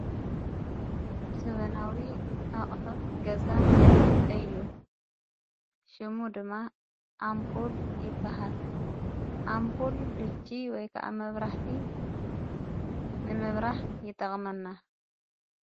ሰበናዊ ኣቕሑት ገዛ እዩ ሽሙ ድማ ኣምፑል ይበሃል ኣምጵል ልቂ ወይ ከዓ መብራህቲ ንምብራህ ይጠቕመና።